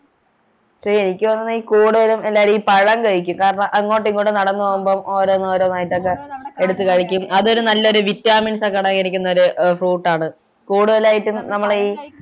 എനിക്ക് തോന്നുന്ന് ഈ കൂടുതലും എല്ലാരും ഈ പഴം കഴിക്കും കാരണം അങ്ങോട്ടും ഇങ്ങോട്ടും നടന്നു പോകുമ്പോ ഓരോന്നോരോന്നായിട്ടൊക്കെ എടുത്തു കഴിക്കും അത്ഒരു നല്ലൊരു vitamin ഒക്കെ അടങ്ങിയിരിക്കുന്നൊരു fruit ആണ് കൂടുതലായിട്ടും നമ്മളെ ഈ